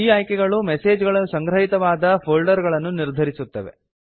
ಈ ಆಯ್ಕೆಗಳು ಮೆಸೇಜ್ ಗಳು ಸಂಗ್ರಹಿತವಾದ ಫೋಲ್ಡರ್ ಗಳನ್ನು ನಿರ್ಧರಿಸುತ್ತವೆ